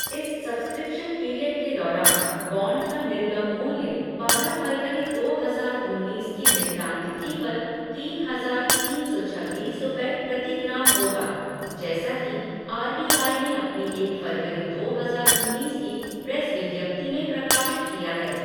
इस subscription period के दौरान बॉन्ड का निर्गम मूल्य बारह फरवरी दो हजार उन्नीस की निपटान तिथि पर तीन हजार तीन सौ छब्बीस रूपये प्रति ग्राम होगा, जैसा कि आर बी आई ने अपनी एक फरवरी दो हजार उन्नीस की प्रेस विज्ञप्ति में प्रकाशित किया है।